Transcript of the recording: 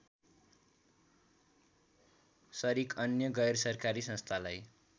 सरिक अन्य गैरसरकारी संस्थालाई